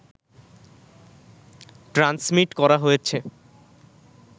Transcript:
transmit করা হয়েছে